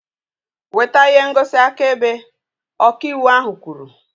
Weta ihe ngosi akaebe! Ọka ịwụ ahu kwuru